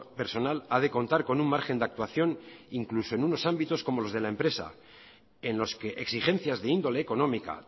personal ha de contar con un margen de actuación incluso en unos ámbitos como los de la empresa en los que exigencias de índole económica